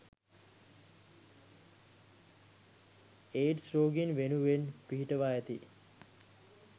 AIDS රෝගීන් වෙනුවෙන් පිහිටුවා ඇති